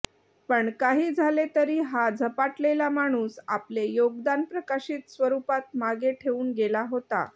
पण काही झाले तरी हा झपाटलेला माणूस आपले योगदान प्रकाशित स्वरूपात मागे ठेवून गेला होता